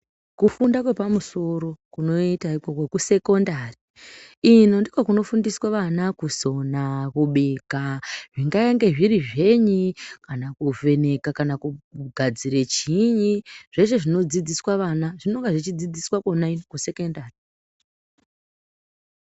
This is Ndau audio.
Kufunda kwepamusoro kunoita ikoko kwekusekondari. Ino ndikona kunofundiswa vana kusona, kubika zvingaenge zviri zvenyi. Kana kuvheneka kana kugadzire chiiyi zveshe zvinodzidziswa vana zvinonga zvechidzidziswa vana kona kusekondari.